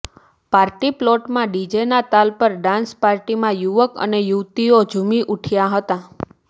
party પ્લોટોમાં ડીજેના તાલ પર ડાન્સ પાર્ટીમાં યુવક અને યુવતીઓ ઝુમી ઊઠ્યા હતાં